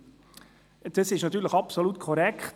» Dies ist natürlich absolut korrekt.